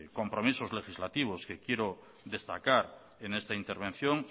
compromisos legislativos que quiero destacar en esta intervención